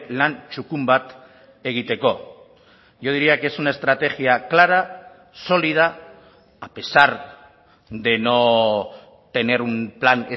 lan txukun bat egiteko yo diría que es una estrategia clara sólida a pesar de no tener un plan